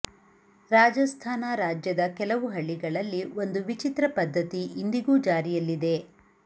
ರಾಜಸ್ಥಾನ ರಾಜ್ಯದ ಕೆಲವು ಹಳ್ಳಿಗಳಲ್ಲಿ ಒಂದು ವಿಚಿತ್ರ ಪದ್ಧತಿ ಇಂದಿಗೂ ಜಾರಿಯಲ್ಲಿದೆ